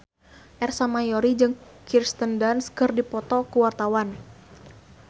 Ersa Mayori jeung Kirsten Dunst keur dipoto ku wartawan